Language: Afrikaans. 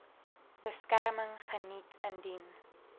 beskerming geniet indien